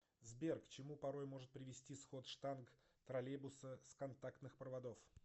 сбер к чему порой может привести сход штанг троллейбуса с контактных проводов